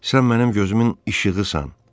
Sən mənim gözümün işığısan.